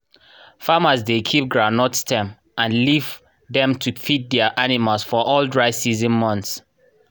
farmers dey keep groundnut stem and leaf dem to feed their animals for all dry season months.